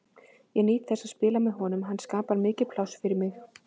Ég nýt þess að spila með honum og hann skapar mikið pláss fyrir mig.